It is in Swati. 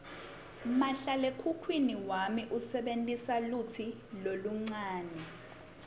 mahlalekhukhwini wami usebentisa lutsi loluncane